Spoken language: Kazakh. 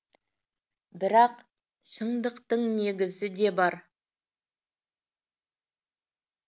бірақ шындықтың негізі де бар